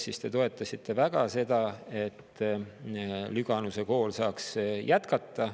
Siis te toetasite väga seda, et Lüganuse kool saaks jätkata.